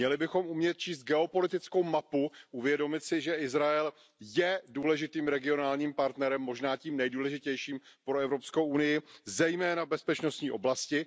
Měli bychom umět číst geopolitickou mapu, uvědomit si, že Izrael je důležitým regionálním partnerem, možná tím nejdůležitějším pro Evropskou unii, zejména v bezpečnostní oblasti.